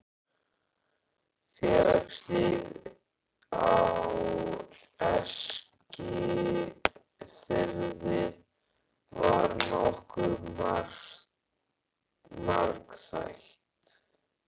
Félagslíf á Eskifirði var nokkuð margþætt.